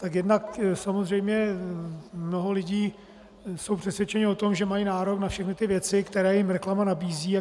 Tak jednak samozřejmě mnoho lidí je přesvědčeno o tom, že mají nárok na všechny ty věci, které jim reklama nabízí.